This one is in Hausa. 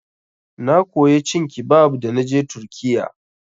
Na koya cin kibab da naje turkiyya.